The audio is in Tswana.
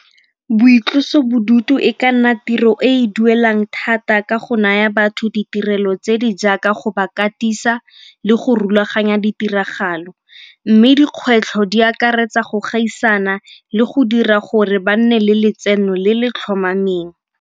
Boitlosobodutu e ka nna tiro e e duelang thata ka go naya batho ditirelo tse di jaaka go ba katisa le go rulaganya ditiragalo. Mme dikgwetlho di akaretsa go gaisana le go dira gore ba nne le letseno le le tlhomameng.